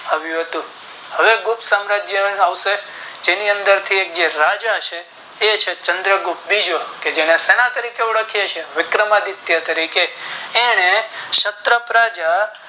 આવ્યું હતું હવે ગુપ્ત સામરાજ્ય માંથી આવશે જેની અંદર રાજા છે એ છે ચંદ્ર ગુપ્ત બીજો કે જેને શેના તારીખે ઓળખિયે છીએ વિક્રમદિયત તરીકે એને ક્ષત્ર પ્રજા